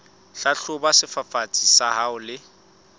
hlahloba sefafatsi sa hao le